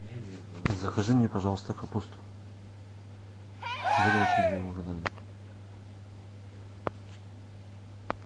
закажи мне пожалуйста капусту буду очень тебе благодарен